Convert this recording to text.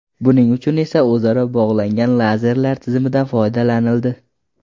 Buning uchun esa o‘zaro bog‘langan lazerlar tizimidan foydalanildi.